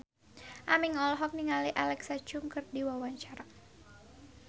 Aming olohok ningali Alexa Chung keur diwawancara